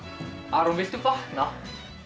Aron viltu vakna